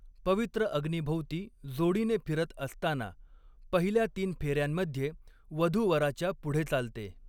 पवित्र अग्नीभोवती जोडीने फिरत असताना, पहिल्या तीन फेऱ्यांमध्ये वधू वराच्या पुढे चालते.